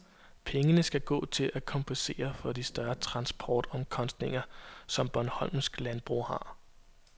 Pengene skal gå til at kompensere for de større transportomkostninger, som bornholmsk landbrug har.